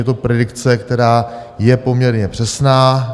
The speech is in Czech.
Je to predikce, která je poměrně přesná.